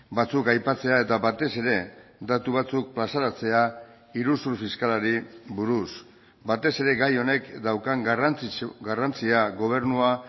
batzuk aipatzea eta batez ere datu batzuk plazaratzea iruzur fiskalari buruz batez ere gai honek daukan garrantzia gobernua